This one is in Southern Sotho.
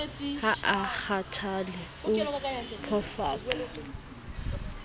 ha a kgathale o phofaka